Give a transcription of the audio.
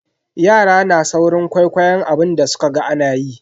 Yara na saurin kwaikwayon abin da sukaga anayi.